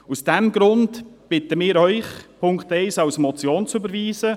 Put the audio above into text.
Aus diesem Grund bitten wir Sie, den Punkt 1 als Motion zu überweisen.